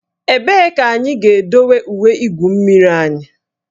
Ebee ka anyị ga-edowe uwe igwu mmiri anyị?